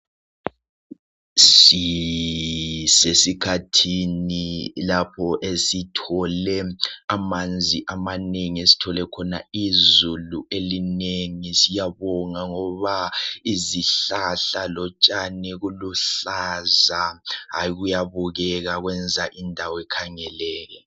Sisesikhathini lapho esithole manzi amanengi esithole khona izulu elinengi siyabonga ngoba izihlahla lotshani kuluhlaza, hayi kuyabukeka kwenza indawo ikhangeleke.